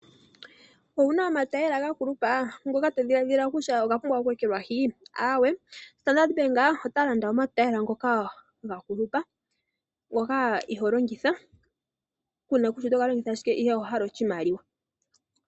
Owuna omatayela ga kulupa? Ngoka to dhiladhila kutya oga pumbwa oku ekelwahi? Aawe, Standard Bank ota landa omatayela ngoka ga kulupa, ngoka ihoo longitha, kuuna kutya oto ga longitha shike ihe owahala oshimaliwa.